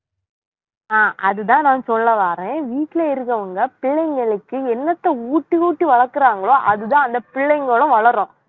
அஹ் அதுதான் நான் சொல்ல வாறேன் வீட்ல இருக்குறவங்க பிள்ளைங்களுக்கு என்னத்த ஊட்டி ஊட்டி வளர்க்கிறாங்களோ அதுதான் அந்த பிள்ளைங்களும் வளரும்,